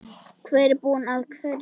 Hver er búinn að hverju?